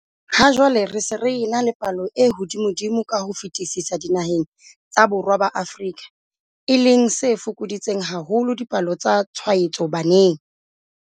Ha jwale re se re ena le palo e hodimodimo ka ho fetisisa dinaheng tsa Borwa ba Afrika, e leng se fokoditseng haholo dipalo tsa tshwaetso baneng.